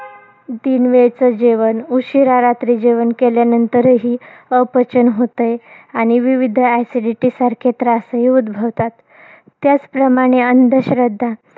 तीन वेळचं जेवण. उशिरा रात्री जेवण केल्यानंतरही अपचन होतंय, आणि विविध acidity सारखे त्रासही उद्भवतात. त्याचप्रमाणे अंधश्रद्धा